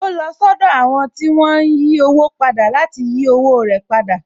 Ó lọ sọ́dọ̀ àwọn tí wón ń yí owó padà láti yí owó rẹ̀ padà